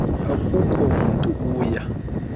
akukho mntu uya